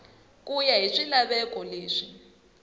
ku ya hi swilaveko leswi